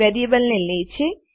variable ને લે છે